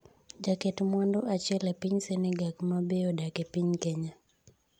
jaket mwandu achiel e piny Senegak mabe odak e piny Kenya